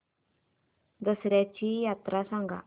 दसर्याची यात्रा सांगा